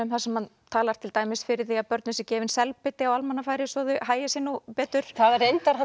þar sem hann talar til dæmis fyrir því að börnum sé gefinn selbiti á almannafæri svo að þau hagi sér nú betur hann reyndar